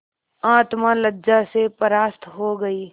आत्मा लज्जा से परास्त हो गयी